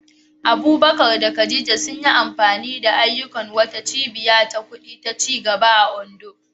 Abubakar da Khadija sun yi amfani da ayyukan wata cibiya ta kudi ta ci gaba a Ondo.